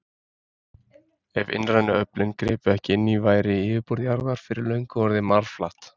Ef innrænu öflin gripu ekki inn í væri yfirborð jarðar fyrir löngu orðið marflatt.